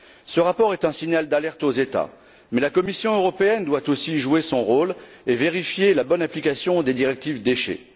Ce rapport est un signal d'alerte aux États, mais la Commission européenne doit aussi jouer son rôle et vérifier la bonne application des directives sur les déchets.